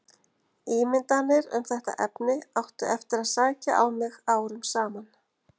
Ímyndanir um þetta efni áttu eftir að sækja á mig árum saman.